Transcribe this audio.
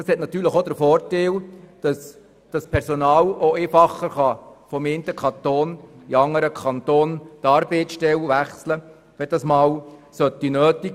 Das hat natürlich dann auch den Vorteil, dass das Personal die Arbeitsstelle einfacher vom einen Kanton in den anderen wechseln kann, wenn das einmal nötig sein sollte.